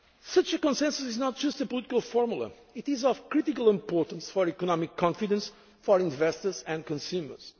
inclusive Europe. Such a consensus is not just a political formula. It is of critical importance for economic confidence for investors